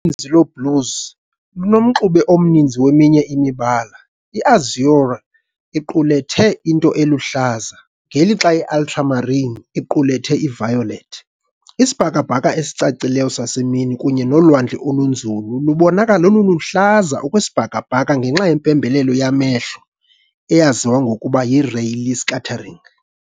Uninzi lweblues lunomxube omncinci weminye imibala, I-azure iqulethe into eluhlaza, ngelixa i-ultramarine iqulethe i-violet. Isibhakabhaka esicacileyo sasemini kunye nolwandle olunzulu lubonakala luluhlaza okwesibhakabhaka ngenxa yempembelelo yamehlo eyaziwa ngokuba yiRayleigh scattering.